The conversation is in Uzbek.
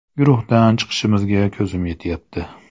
Guruhdan chiqishimizga ko‘zim yetyapti.